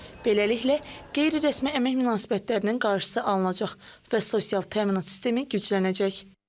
Beləliklə, qeyri-rəsmi əmək münasibətlərinin qarşısı alınacaq və sosial təminat sistemi güclənəcək.